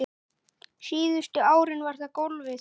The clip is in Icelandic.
Síðustu árin var það golfið.